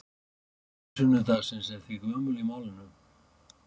Helgi sunnudagsins er því gömul í málinu.